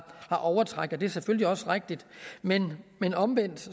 overtræk og det er selvfølgelig også rigtigt men men omvendt